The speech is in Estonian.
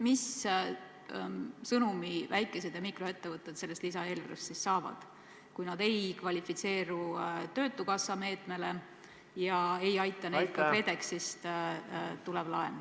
Millise sõnumi väike- ja mikroettevõtted sellest lisaeelarvest saavad, kui nad ei kvalifitseeru ei töötukassa meetme saajaks ega aita neid ka KredExi laen?